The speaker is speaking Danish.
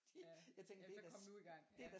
Fordi jeg tænker det da